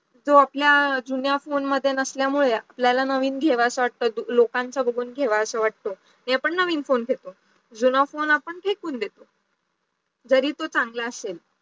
जो आपला जुन्या phone मध्ये नसल्यमुडे आपल्याला नवीन लोकांचा बघून घेवासा वाटतो, मी पण नवीन phone घेतो, जुना phone आपण फेकून देतो जरी तो चांगला असेल